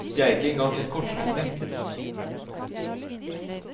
Det er ikke engang en kortslutning.